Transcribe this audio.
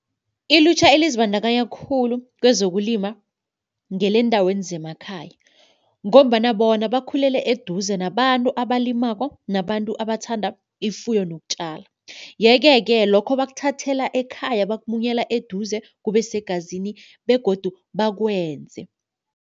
Ilutjha elizibandakanya khulu kwezokulima ngeleendaweni zemakhaya ngombana bona bakhulele eduze nabantu abalimako nabantu abathanda ifuyo nokutjala. Yeke-ke lokho bakuthathela ekhaya bakunyela eduze kube segazini begodu bakwenze.